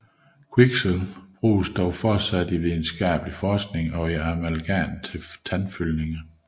Kviksølv anvendes dog fortsat i videnskabelig forskning og i amalgam til tandfyldninger